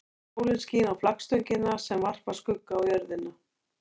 Sólin skín á flaggstöngina sem varpar skugga á jörðina.